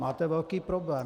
Máte velký problém.